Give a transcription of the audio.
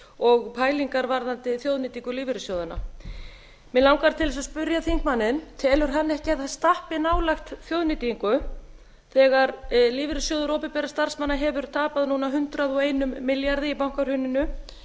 og pælingar varðandi þjóðnýtingu lífeyrissjóðanna mig langar til þess að spyrja þingmanninn telur hann ekki að það stappi nálægt þjóðnýtingu þegar lífeyrissjóður opinberra starfsmanna hefur tapað núna hundrað og einum milljarði í bankahruninu